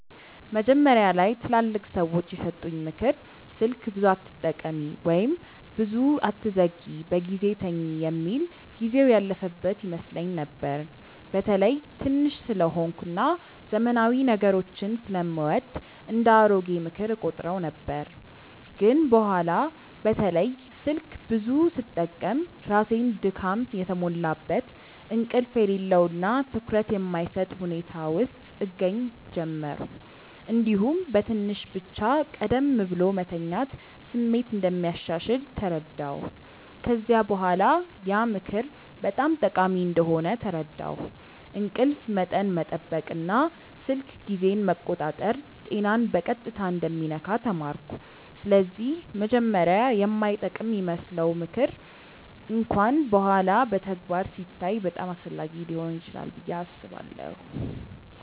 መጀመሪያ ላይ ትላልቅ ሰዎች የሰጡኝ “ምክር ስልክ ብዙ አትጠቀሚ” ወይም “ብዙ አትዘግይ በጊዜ ተኝ” የሚል ጊዜው ያለፈበት ይመስለኝ ነበር። በተለይ ትንሽ ስለሆንኩ እና ዘመናዊ ነገሮችን ስለምወድ እንደ “አሮጌ ምክር” እቆጥረው ነበር። ግን በኋላ በተለይ ስልክ ብዙ ስጠቀም ራሴን ድካም የተሞላበት፣ እንቅልፍ የሌለው እና ትኩረት የማይሰጥ ሁኔታ ውስጥ እገኛ ጀመርሁ። እንዲሁም በትንሽ ብቻ ቀደም ብሎ መተኛት ስሜት እንደሚያሻሽል ተረዳሁ። ከዚያ በኋላ ያ ምክር በጣም ጠቃሚ እንደሆነ ተረዳሁ፤ እንቅልፍ መጠን መጠበቅ እና ስልክ ጊዜን መቆጣጠር ጤናን በቀጥታ እንደሚነካ ተማርኩ። ስለዚህ መጀመሪያ የማይጠቅም ይመስለው ምክር እንኳን በኋላ በተግባር ሲታይ በጣም አስፈላጊ ሊሆን ይችላል ብዬ አስባለሁ።